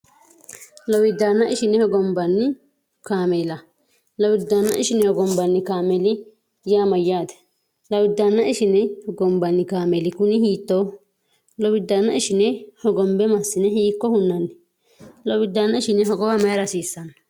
Lowidana ishine hogonbanni kaamela. Lowidana ishine hogonbani kaameli yaa mayyaate? Lowidana ishine hogonbanni kaameli kuni hiittoho? Lowidana ishine Hogonbe massine hiikko hunnanni? Lowidana ishine hogowa mayiira hasiissano?